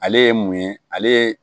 Ale ye mun ye ale ye